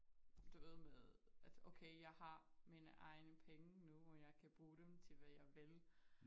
Du ved med at okay jeg har mine egne penge nu og jeg kan bruge dem til hvad jeg vil